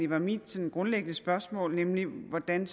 var mit grundlæggende spørgsmål nemlig hvordan